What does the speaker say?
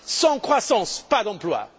Sans croissance pas d'emplois.